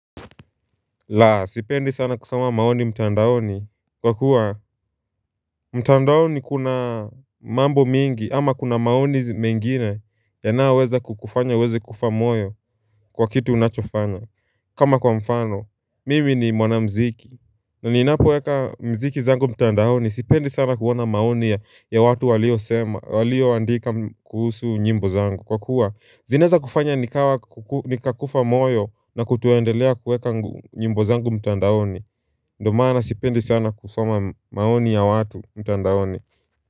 Laa sipendi sana kusoma maoni mtandaoni Kwa kuwa mtandaoni kuna mambo mingi ama kuna maoni mengine yanayoweza kukufanya uweze kufa moyo kwa kitu unachofanya kama kwa mfano mimi ni mwana mziki na ninapoweka mziki zangu mtandaoni sipendi sana kuona maoni ya watu walio andika kuhusu nyimbo zangu kwa kuwa Zinezaweza kufanya nikakufa moyo na kutuondelea kueka nyimbo zangu mtandaoni Ndio maana sipendi sana kusoma maoni ya watu mtandaoni.